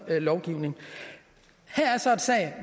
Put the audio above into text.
lovgivning her er så en sag